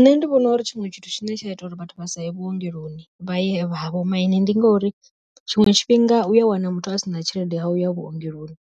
Nṋe ndi vhona uri tshiṅwe tshithu tshine tsha ita uri vhathu vha saye vhuongeloni vha ye ha vho maine, ndi ngori tshiṅwe tshifhinga uya wana muthu asina tshelede ya uya vhuongeloni